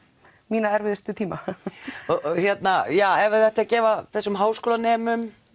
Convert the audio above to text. mína erfiðustu tíma ef þið ættuð að gefa þessum háskólanemum